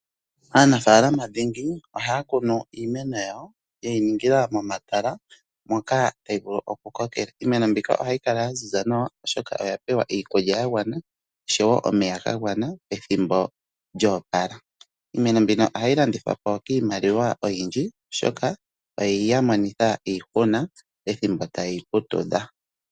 Aanafaalama dhingi ohaya kunu iimeno yawo yeyi ningila momatala moka tayi vulu oku kokela. Iimeno mbika ohayi kala ya ziza nawa oshoka oyapewa iikulya ya gwana oshowo omeya ga gwana pethimbo lyo opala. Iimeno mbino ohayi landithwapo kiimaliwa oyindji oshoka oyeya monitha iihuna pethimbo ta yeyi putudha.